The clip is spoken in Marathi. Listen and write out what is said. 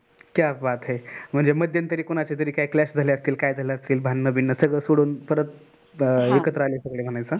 क्या बात है म्हणजे मध्यंतरीकोणाचए तरी clash झाले असतील काय झाल असेल भांडण बिन सगळ सोडून परत एकत्र आले.